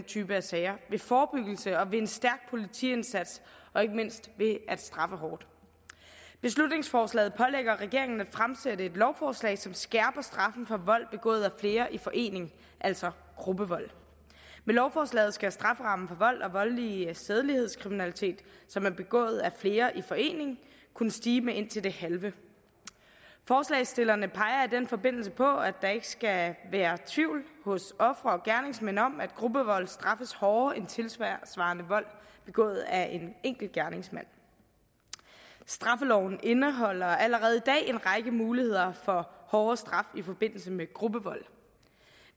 type af sager ved forebyggelse og ved en stærk politiindsats og ikke mindst ved at straffe hårdt beslutningsforslaget pålægger regeringen at fremsætte et lovforslag som skærper straffen for vold begået af flere i forening altså gruppevold med lovforslaget skal strafferammen for vold og voldelig sædelighedskriminalitet som er begået af flere i forening kunne stige med indtil det halve forslagsstillerne peger i den forbindelse på at der ikke skal være tvivl hos ofre og gerningsmænd om at gruppevold straffes hårdere end tilsvarende vold begået af en enkelt gerningsmand straffeloven indeholder allerede i dag en række muligheder for hårdere straf i forbindelse med gruppevold